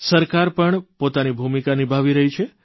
સરકાર પણ પોતાની ભૂમિકા નિભાવી રહી છે